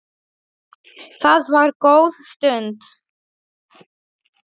Það var góð stund.